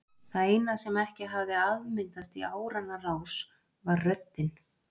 Það eina sem ekki hafði afmyndast í áranna rás var röddin.